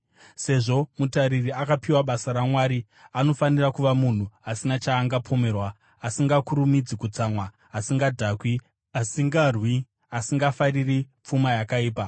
Sezvo mutariri akapiwa basa raMwari, anofanira kuva munhu asina chaangapomerwa, asingakurumidzi kutsamwa, asingadhakwi, asingarwi, asingafariri pfuma yakaipa.